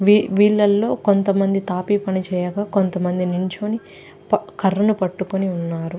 వీళ్లలో కొంతమంది తాపీ పని చేయగా కొంతమంది నిలుచొని కర్రను పట్టుకుని ఉన్నారు.